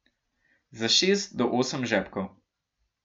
Za šest do osem žepkov.